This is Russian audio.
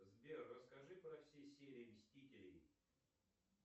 сбер расскажи про все серии мстителей